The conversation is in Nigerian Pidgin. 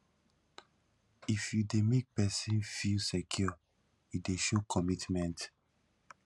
if you dey make pesin feel secure e dey show commitment